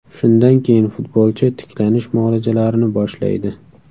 Shundan keyin futbolchi tiklanish muolajalarini boshlaydi.